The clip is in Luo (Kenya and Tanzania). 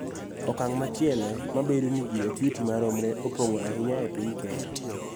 Okang� machielo ma bedo ni ji ok yuti maromre opong�o ahinya e piny Kenya